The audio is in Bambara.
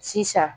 Sisan